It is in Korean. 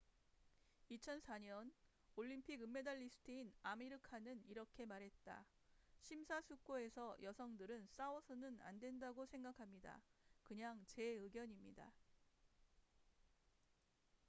"2004년 올림픽 은메달리스트인 아미르 칸은 이렇게 말했다 "심사숙고해서 여성들은 싸워서는 안된다고 생각합니다. 그냥 제 의견입니다.""